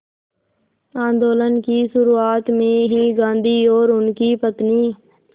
आंदोलन की शुरुआत में ही गांधी और उनकी पत्नी